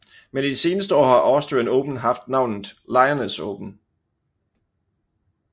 Men de seneste år har Austrian Open haft navnet Lyoness Open